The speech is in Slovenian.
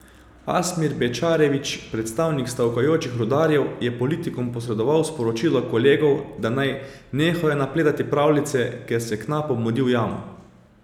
Asmir Bečarević, predstavnik stavkajočih rudarjev, je politikom posredoval sporočilo kolegov, da naj nehajo napletati pravljice, ker se knapom mudi v jamo.